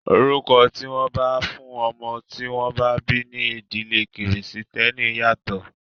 Orúkọ tí wọ́n máa fún ọmọ tí wọ́n bá bí ní ìdílé kìrìsìtẹ́nì yàtọ̀.